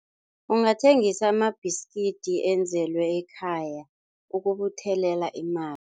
Ungathengisa amabhiskidi enzelwe ekhaya ukubuthelela imali.